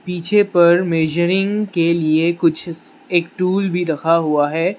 पिछे पर मेजरिंग के लिए कुछ स एक टूल भी रखा हुआ है।